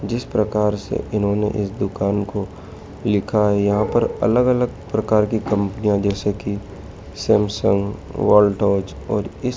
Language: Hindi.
जिस प्रकार से इन्होंने इस दुकान को लिखा है यहां पर अलग अलग प्रकार की कंपनियां जैसे की सैमसंग वोल्टोज और इस--